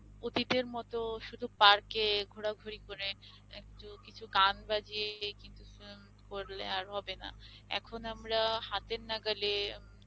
অতীতের মত শুধু park এ ঘোরাঘুরি করে একটু কিছু গান বাজিয়ে দিলেই কিন্তু film করলে আর হবে না এখন আমরা হাতের নাগালে